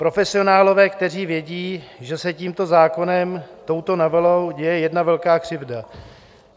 Profesionálové, kteří vědí, že se tímto zákonem, touto novelou, děje jedna velká křivda.